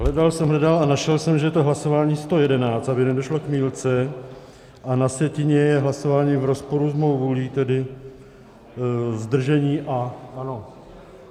Hledal jsem, hledal a našel jsem, že je to hlasování 111, aby nedošlo k mýlce, a na sjetině je hlasování v rozporu s mou vůlí, tedy zdržení, a ano.